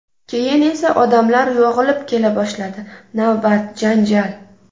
Keyin esa odamlar yog‘ilib kela boshladi: navbat, janjal.